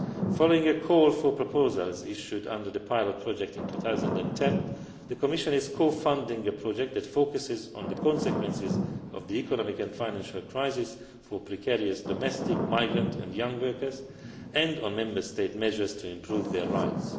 Following a call for proposals issued under the pilot project in 2010, the Commission is co funding a project that focuses on the consequences of the economic and financial crisis for precarious domestic, migrant and young workers, and on Member State measures to improve their rights.